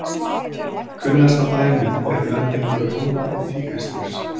kunnasta dæmið er blendingur ljóna og tígrisdýrs